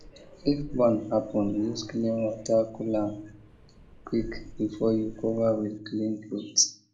if burn happen use clean water cool am quick before you cover with clean cloth